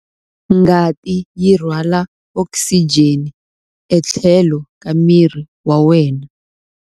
Ngati yi rhwala okisijeni etlhelo ka miri wa wena.